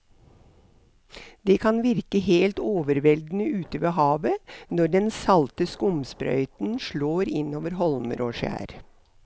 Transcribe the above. Det kan virke helt overveldende ute ved havet når den salte skumsprøyten slår innover holmer og skjær.